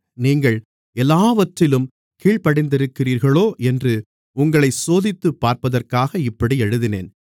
நீங்கள் எல்லாவற்றிலும் கீழ்ப்படிந்திருக்கிறீர்களோ என்று உங்களைச் சோதித்துப் பார்ப்பதற்காக இப்படி எழுதினேன்